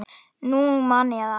Nú man ég það!